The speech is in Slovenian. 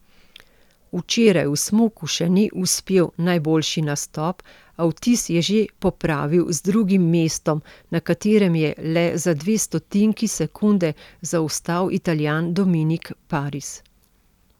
Včeraj v smuku še ni uspel najboljši nastop, a vtis je že popravil z drugim mestom, na katerem je le za dve stotinki sekunde zaostal Italijan Dominik Paris.